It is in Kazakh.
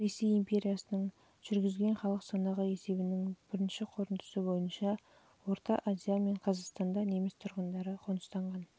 ресей империясының жылы жүргізген халық санақ есебінің бірінші қорытындысы бойынша орта азия мен қазақстанда неміс тұрған оның ішінде